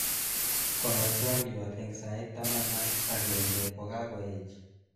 konor twaliot eng sait tamanak akenge kukakoech